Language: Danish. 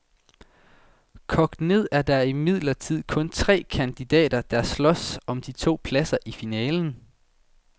Kogt ned er der imidlertid kun tre kandidater, der slås om de to pladser i finalen.